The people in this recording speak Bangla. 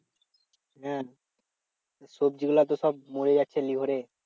হ্যাঁ সবজি গুলো তো সব মরে যাচ্ছে লিহরে